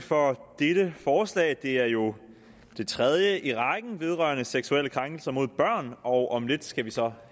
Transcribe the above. for dette forslag det er jo det tredje i rækken vedrørende seksuelle krænkelser mod børn og om lidt skal vi så